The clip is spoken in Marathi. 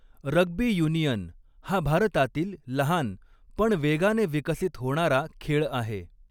रग्बी युनियन हा भारतातील लहान पण वेगाने विकसित होणारा खेळ आहे.